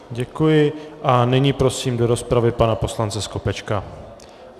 Děkuji a nyní prosím do rozpravy pana poslance Skopečka.